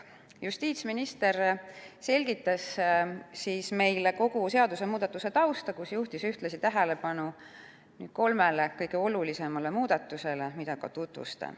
Justiitsminister selgitas meile kogu seadusemuudatuse tausta ning juhtis ühtlasi tähelepanu kolmele kõige olulisemale muudatusele, mida nüüd ka tutvustan.